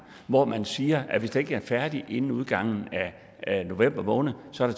hvor man siger at hvis det ikke er færdigt inden udgangen af november måned så er